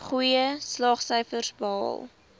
goeie slaagsyfers behaal